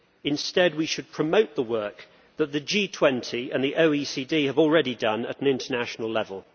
Instead we should promote the work that the G20 and the OECD have already done at an international level.